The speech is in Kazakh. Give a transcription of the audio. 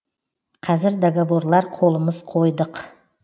қазір договорлар қолымыз қойдық